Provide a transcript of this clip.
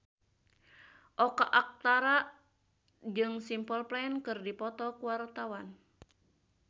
Oka Antara jeung Simple Plan keur dipoto ku wartawan